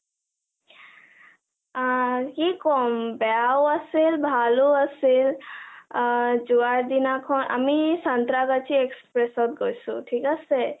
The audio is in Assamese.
আ কি কম বেয়াও আছিল, ভালো আছিল, আ.. যোৱা দিনাখন আমি চানত্ৰা ব্ৰাজি express ত গৈছো ঠিক আছে ।